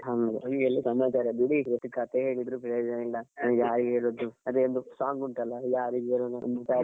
ಹ್ಮ್ಮ್ ಹೀಗೆಲ್ಲ ಸಮಾಚಾರ ಬಿಡಿ ಎಷ್ಟು ಕಥೆ ಹೇಳಿದ್ರು ಪ್ರಯೋಜನ ಇಲ್ಲಅದೇ ಒಂದು song ಉಂಟಲ್ವಾ ಯಾರಿಗ್ ಹೇಳೋಣಾ ನಮ್ಮ problem .